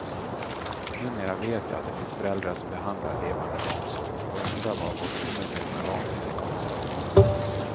Numera vet jag att det finns föräldrar som behandlar levande barn så och undrar var vårt omedvetna vansinne kommer ifrån.